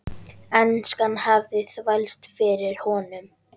Enskan hafði þvælst fyrir honum.